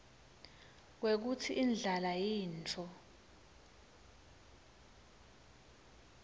kwekutsi indlala yintfo